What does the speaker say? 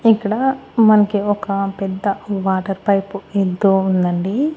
ఇక్కడ మనకి ఒక పెద్ద వాటర్ పైపు యెల్తూ ఉందండి.